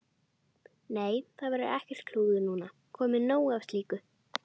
Nei, það verður ekkert klúður núna, komið nóg af slíku.